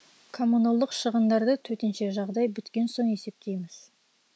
коммуналдық шығындарды төтенше жағдай біткен соң есептейміз